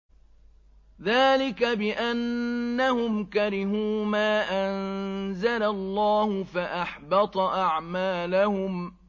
ذَٰلِكَ بِأَنَّهُمْ كَرِهُوا مَا أَنزَلَ اللَّهُ فَأَحْبَطَ أَعْمَالَهُمْ